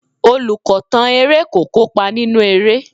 Olùkọ̀tàn eré kò kópa nínú eré.